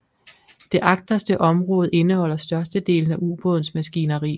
Det agterste område indeholder størstedelen af ubådens maskineri